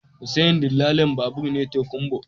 Hussein dillalin babur ne tokunbo